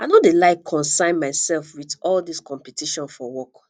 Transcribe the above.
i no dey like consyn myself with all dis competition for work